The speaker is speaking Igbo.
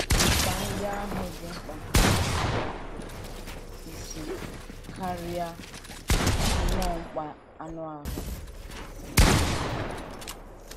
Mkpa ndị ahụ dị mkpa n’ụzọ bụ́ isi, karịa nnọọ mkpa anụ ahụ.